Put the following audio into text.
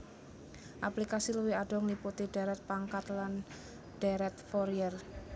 Aplikasi luwih adoh ngliputi dhèrèt pangkat lan dhèrèt Fourier